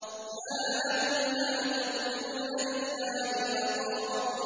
مَّا لَكُمْ لَا تَرْجُونَ لِلَّهِ وَقَارًا